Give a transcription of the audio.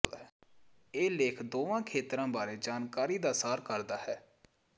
ਇਹ ਲੇਖ ਦੋਵਾਂ ਖੇਤਰਾਂ ਬਾਰੇ ਜਾਣਕਾਰੀ ਦਾ ਸਾਰ ਕਰਦਾ ਹੈ